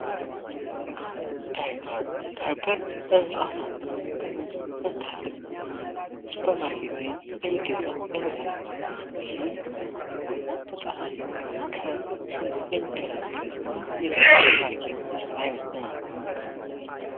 ዳይፐር ዳይፐር ህጻናት ጋር ለማድረግ ሱፐርማርኬት የሚገዛ የምርት አይነት ሲሆን፤ ይህም ህጻናት ከሽንት የሚገላግል የሱፐር ማርኬት ምርት አይነት ነው።